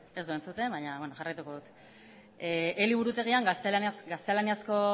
ez du entzuten baina jarraituko dut eliburutegian gaztelaniazko